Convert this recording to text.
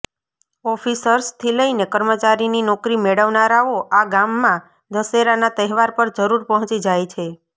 ઓફિસર્સથી લઈને કર્મચારીની નોકરી મેળવનારાઓ આ ગામમા દશેરાના તહેવાર પર જરૂર પહોંચી જાય છે